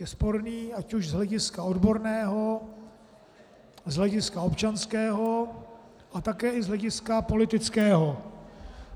Je sporný ať už z hlediska odborného, z hlediska občanského a také i z hlediska politického.